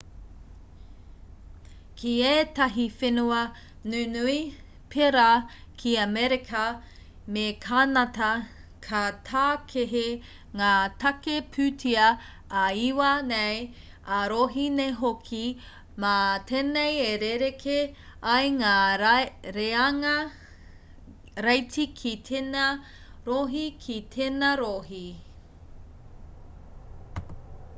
ki ētahi whenua nunui pēra ki amerika me kānata ka tākehi ngā tāke-pūtea ā-iwi nei ā-rohe nei hoki mā tēnei e rerekē ai ngā reanga reiti ki tēnā rohe ki tēnā rohe